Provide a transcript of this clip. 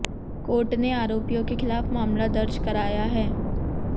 court ने आरोपियों के खिलाफ मामला दर्ज कराया है